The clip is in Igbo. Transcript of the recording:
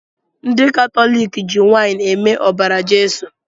Ndi katọlịkị ji waịnị eme ọbara Jeso